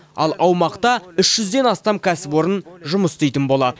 ал аумақта үш жүзден астам кәсіпорын жұмыс істейтін болады